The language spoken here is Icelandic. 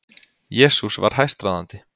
Jesús var hæstráðandi.